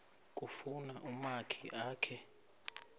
kufuna umakhi akhe